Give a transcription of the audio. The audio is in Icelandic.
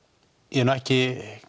ég hef